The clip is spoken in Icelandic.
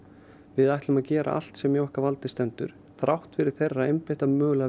við ætlum að gera allt sem í okkar valdi stendur þrátt fyrir þeirra einbeitta